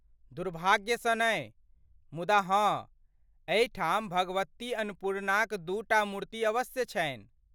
दुर्भाग्य सँ नै, मुदा हँ, एहिठाम भगवती अन्नपूर्णाक दूटा मूर्ति अवश्य छनि।